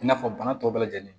I n'a fɔ bana tɔw bɛɛ lajɛlen